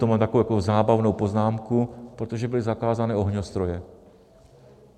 To mám takovou jako zábavnou poznámku, protože byly zakázané ohňostroje.